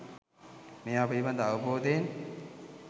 මේවා පිළිබඳව අවබෝධයෙන්